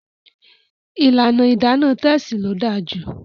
ìlànà Idana Tessy ló dáa jù.